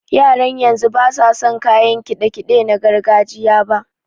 Yaran yanzu basu san kayan kiɗe-kiɗe na gargajiya ba.